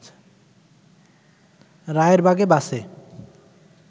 রায়েরবাগে বাসে